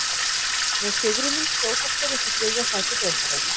Með sigrinum skjótast þeir upp í þriðja sæti deildarinnar.